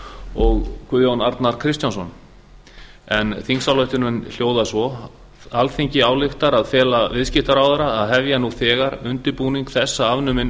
og guðjón arnar kristjánsson þingsályktunin hljóðar svo alþingi ályktar að fela viðskiptaráðherra að hefja nú þegar undirbúning þess að afnumin